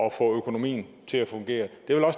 at få økonomien til at fungere